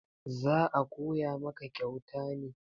za a Koya maka kyauta ne